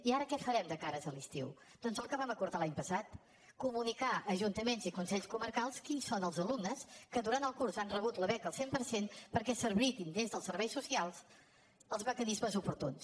i ara què farem de cara a l’estiu doncs el que vam acordar l’any passat comunicar a ajuntaments i consells comarcals quins són els alumnes que durant el curs han rebut la beca al cent per cent perquè s’habilitin des dels serveis socials els mecanismes oportuns